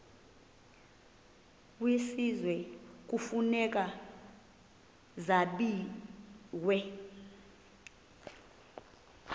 kwisizwe kufuneka zabiwe